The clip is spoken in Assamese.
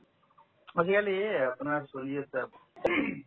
আজিকালি আপোনাৰ চলি আছে ing